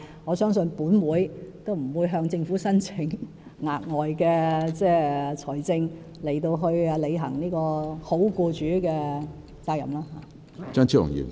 我相信行管會亦不會向政府申請額外撥款來履行好僱主的責任。